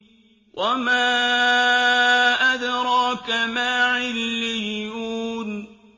وَمَا أَدْرَاكَ مَا عِلِّيُّونَ